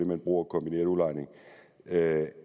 man bruger kombineret udlejning at